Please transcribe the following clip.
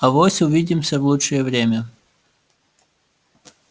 авось увидимся в лучшее время